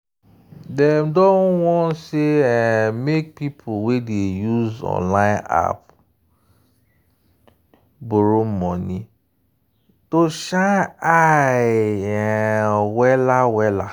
dem don warn sey um make people wey dey use online app borrow money to shine eye um well-well.